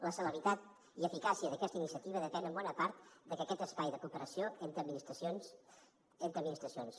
la celeritat i eficàcia d’aquesta iniciativa depèn en bona part d’aquest espai de cooperació entre administracions